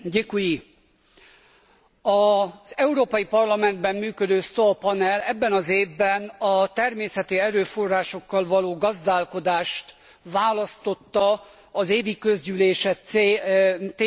Az Európai Parlamentben működő STOA panel ebben az évben a természeti erőforrásokkal való gazdálkodást választotta az évi közgyűlése témájául kezdeményezésemre.